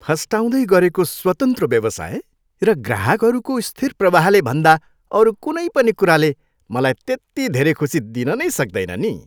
फस्टाउँदै गरेको स्वतन्त्र व्यवसाय र ग्राहकहरूको स्थिर प्रवाहले भन्दा अरू कुनै पनि कुराले मलाई त्यति धेरै खुसी दिन नै सक्दैन नि।